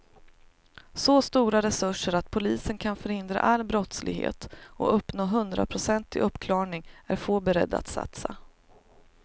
Så stora resurser att polisen kan förhindra all brottslighet och uppnå hundraprocentig uppklarning är få beredda att satsa.